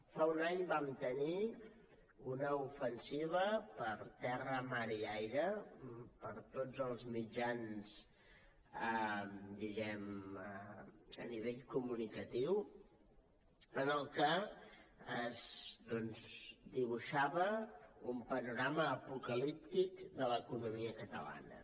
fa un any vam tenir una ofensiva per terra mar i aire per tots els mitjans diguem ne a nivell comunicatiu en què es dibuixava un panorama apocalíptic de l’economia catalana